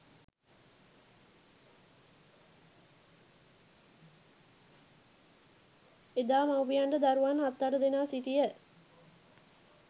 එදා මව්පියන්ට දරුවන් හත් අට දෙනා සිටිය